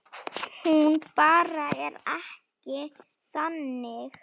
Hún bara er ekki þannig.